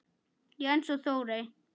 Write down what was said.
Jens og Þórey.